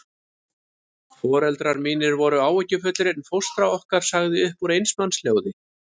Foreldrar mínir voru áhyggjufullir, en fóstra okkar sagði upp úr eins manns hljóði